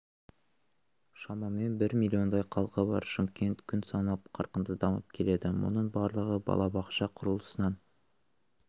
шамамен бір миллиондай халқы бар шымкент күн санап қарқынды дамып келеді мұның барлығы балабақша құрылысынан